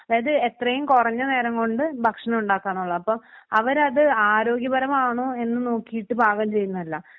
അതായത് എത്രയും കുറഞ്ഞ നേരം കൊണ്ട് ഭക്ഷണം ഉണ്ടാക്കാന്നുള്ളതാണ് അപ്പൊ അവരത് ആരോഗ്യപരമാണോ എന്ന് നോക്കിയിട്ട് പാകം ചെയ്യുന്നതല്ല.